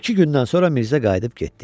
İki gündən sonra Mirzə qayıdıb getdi.